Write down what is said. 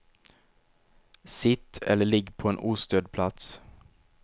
Sitt eller ligg på en ostörd plats.